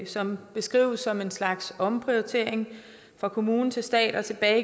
som beskrives som en slags omprioritering fra kommune til stat og tilbage